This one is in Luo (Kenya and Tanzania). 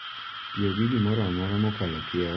Tiyo gi gimoro amora mokalo kiewo en gima kelo hinyruok